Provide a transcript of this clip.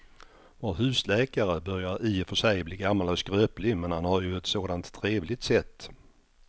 Vår husläkare börjar i och för sig bli gammal och skröplig, men han har ju ett sådant trevligt sätt!